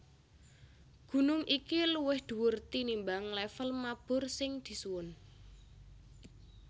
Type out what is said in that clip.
Gunung iki luwih dhuwur tinimbang lèvel mabur sing disuwun